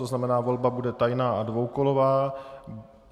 To znamená, volba bude tajná a dvoukolová.